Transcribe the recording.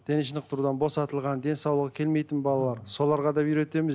дене шынықтырудан босатылған денсаулығы келмейтін балалар соларға да үйретеміз